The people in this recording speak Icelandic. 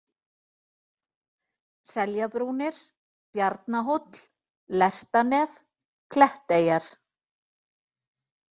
Seljabrúnir, Bjarnahóll, Lertanef, Kletteyjar